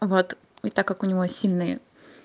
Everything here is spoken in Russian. вот и так как у него сильный